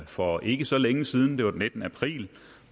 for ikke så længe siden det var den nittende april